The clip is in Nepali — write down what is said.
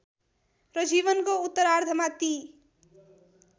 र जीवनको उत्तरार्धमा ती